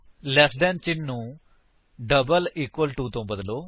ਲੈਸ than ਚਿੰਨ੍ਹ ਨੂੰ double equal to ਵਿਚ ਬਦਲੋ